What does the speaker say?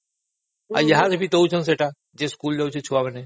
ସମସ୍ତଙ୍କୁ ଦେଉଛନ୍ତି ସେଇଟା ଯିଏ ବି ସ୍କୁଲ ଯାଉଛନ୍ତି ଛୁଆମାନେ